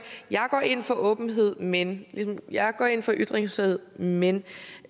jeg går ind for åbenhed men eller jeg går ind for ytringsfrihed men men og